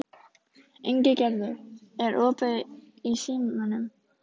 Ingigerður, er opið í Símanum?